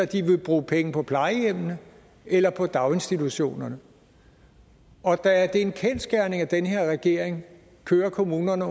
de vil bruge penge på plejehjemmene eller på daginstitutionerne og da det er en kendsgerning at den her regering kører kommunerne